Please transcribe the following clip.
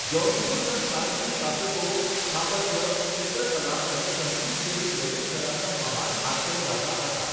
જૌનપુરના શાર્કી શાસકો સ્થાપત્ય, ચિત્રકળા અને સંગીત જેવી લલિત કલાના મહાન આશ્રયદાતા હતા.